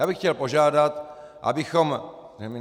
Já bych chtěl požádat, abychom...